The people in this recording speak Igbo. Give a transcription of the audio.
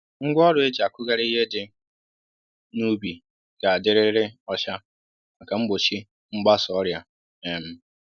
Ngwá ọrụ e jì akụghari ihe dị n'ubi ga dị rịrị ọcha màkà mgbochi mgbasa ọrịa um